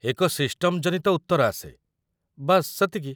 ଏକ ସିଷ୍ଟମ ଜନିତ ଉତ୍ତର ଆସେ, ବାସ୍ ସେତିକି।